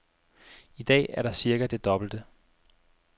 I dag er der cirka det dobbelte.